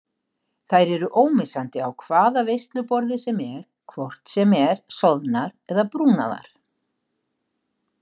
Þær eru ómissandi á hvaða veisluborði sem er hvort sem er soðnar eða brúnaðar.